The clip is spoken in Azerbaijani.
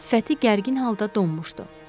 Sifəti gərgin halda donmuşdu.